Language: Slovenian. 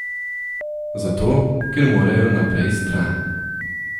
Zato, ker morajo naprej stran.